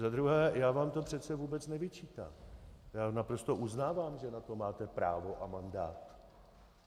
Za druhé, já vám to přece vůbec nevyčítám, já naprosto uznávám, že na to máte právo a mandát.